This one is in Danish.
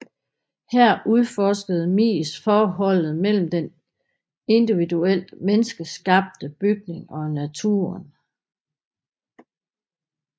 Her udforskede Mies forholdet mellem den individuelt menneskeskabte bygning og naturen